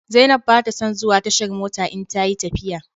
Zainab ba ta son zuwa tashar mota in ta yi tafiya.